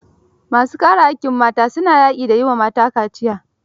Ma su kare haƙƙin mata, su na yaƙi da yi wa mata kaciya.